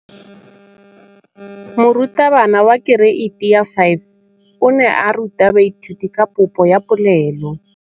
Moratabana wa kereiti ya 5 o ne a ruta baithuti ka popô ya polelô.